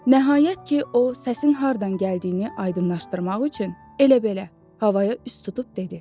Nəhayət ki, o səsin hardan gəldiyini aydınlaşdırmaq üçün elə belə, havaya üst tutub dedi: